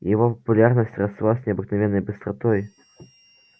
его популярность росла с необыкновенной быстротой